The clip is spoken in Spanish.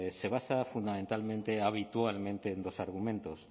se basa fundamentalmente habitualmente en dos argumentos